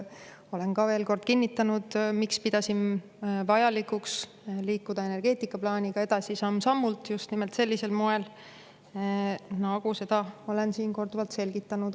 Olen, miks ma pidasin vajalikuks liikuda energeetikaplaaniga edasi samm-sammult, just nimelt sellisel moel, nagu ma olen siin korduvalt selgitanud.